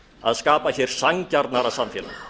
að skapa hér sanngjarnara samfélag